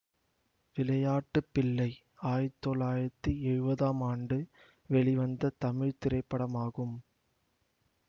விளையாட்டு பிள்ளை ஆயிரத்தி தொள்ளாயிரத்தி எழுவதாம் ஆண்டு வெளிவந்த தமிழ் திரைப்படமாகும்